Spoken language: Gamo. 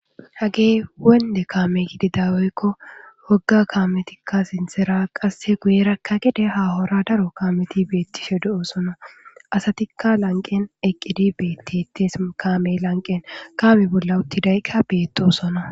Hage wonde kaame gidi daweykko wogga kaametikka sintera qasse guyerakka gede hahora daro kaameti beettishe do7o sono asatikka lanqen eqqidi beettites kaame lanqen kaame bolla uttidayqka beetosona